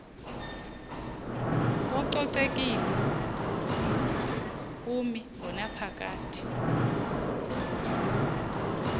kococekile kumi ngonaphakade